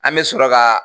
An bɛ sɔrɔ ka